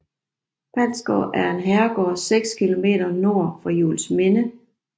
Palsgaard er en herregård 6 km nord for Juelsminde